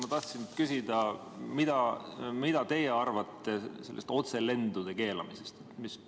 Ma tahtsin küsida, mida teie arvate otselendude keelamisest.